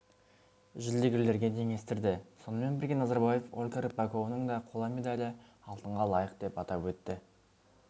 жүлдегерлерге теңестірді сонымен бірге назарбаев ольга рыпакованың да қола медалі алтынға лайық деп атап өтті